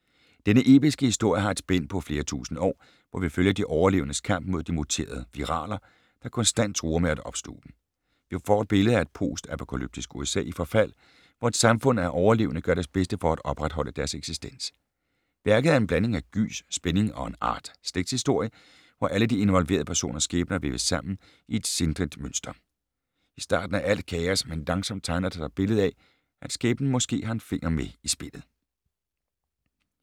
Denne episke historie har et spænd på flere tusinde år, hvor vi følger de overlevendes kamp mod de muterede "viraler", der konstant truer med at opsluge dem. Vi får et billede af et post-apokalyptisk USA i forfald, hvor et samfund af overlevende gør deres bedste for at opretholde deres eksistens. Værket er en blanding af gys, spænding og en art slægtshistorie, hvor alle de involverede personers skæbner væves sammen i et sindrigt mønster. I starten er alt kaos, men langsomt tegner der sig et billede af, at skæbnen måske har en finger med i spillet.